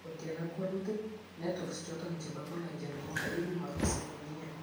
Ko tien ag walutik, networks choton chebo collagen koma iumaksei komnyei